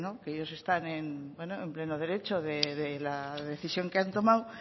que ellos están en pleno derecho de la decisión que han tomado